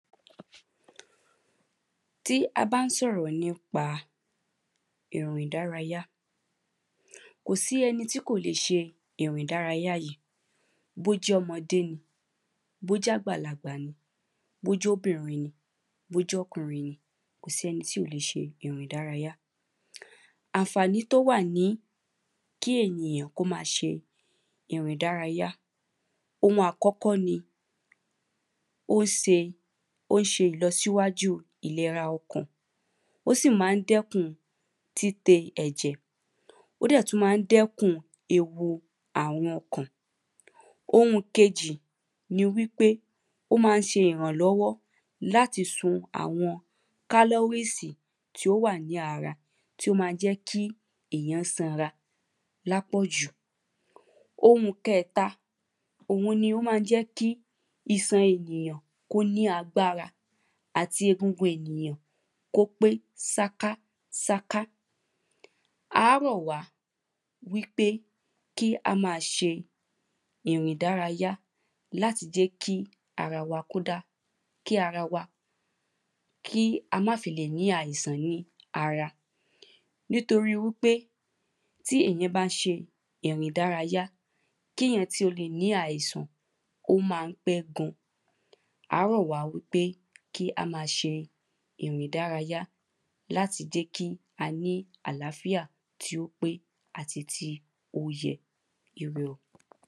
ti a ba n soro nipa ere idaraja Kò sí ẹni tí kò lè ṣe ìrìn ìdárayá yìí Bí ó jẹ́ ọmọdé ni bí ó jẹ́ àgbàlagbà ni bí ó jẹ́ obìnrin ni bí ó jẹ́ ọkùnrin ni kò sí ẹni tí ò lè ṣe ìrìn ìdárayá Àǹfàní tí ó wà ní kí ènìyàn kí ó máa ṣe ìrìn ìdárayá Oun àkọ́kọ́ ni Ó ṣe ó ń ṣe ìlọsíwájú ìlera ọkàn Ó sì ma ń dẹ́kun títe ẹ̀jẹ̀ Ó dẹ̀ tún ma ń dẹ́kun ewu ààrùn ọkàn Oun kejì ni wípé ó ma ń ṣe ìrànlọ́wọ́ láti sun àwọn calories tí ó wà ní ara tí o ma ń jẹ́ kí èyàn sanra ní àpọ̀jù Oun kẹta òun ni ó ma ń jẹ́ kí iṣan ènìyàn kí ó ní agbára àti egungun ènìyàn kí ó pé ṣákáṣáká À á rọ̀ wá wípé kí á máa ṣe ìrìn ìdárayá láti jẹ́ kí ara kí ó dá kí ara wa kí á má fi lè ní àìsàn ní ara Nítorí wípé tí èyàn bá ń ṣe ìrìn ìdárayá kí èyàn tó lè ní àìsàn ó ma ń pẹ́ gan À á rọ̀ wá wípé kí á máa ṣe ìrìn ìdárayá láti jẹ́ kí á ní àlàáfíà tí ó pé àti tí ó yẹ Ire o